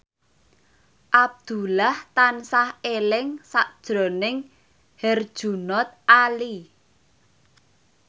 Abdullah tansah eling sakjroning Herjunot Ali